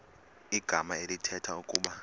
igama elithetha ukuba